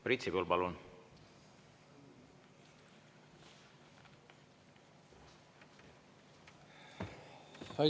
Priit Sibul, palun!